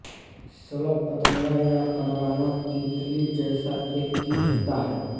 शलभ पतंगा या परवाना तितली जैसा एक कीट होता है